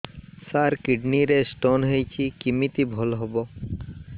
ସାର kidney ରେ stone ହେଇଛି କମିତି ଭଲ ହେବ